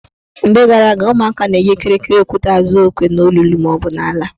Mgbe gara aga, ụmụaka na-eji kịrịkịrị okwute azụ okwe n' olulu maọbụ n' ala.